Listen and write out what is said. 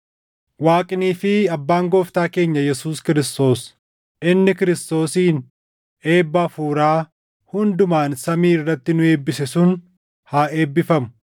Waaqnii fi Abbaan Gooftaa keenya Yesuus Kiristoos inni Kiristoosiin eebba hafuuraa hundumaan samii irratti nu eebbise sun haa eebbifamu.